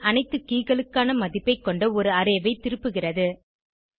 hash ன் அனைத்து keyகளுக்கான மதிப்பை கொண்ட ஒரு அரே ஐ திருப்புகிறது